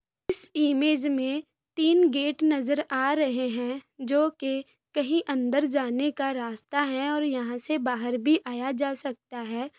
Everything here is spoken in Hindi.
इस इमेज में तीन गेट नजर आ रहे हैं जो की कहीं अंदर जाने का रास्ता हैं और यहाँ से बाहर भी आया जा सकता हैं।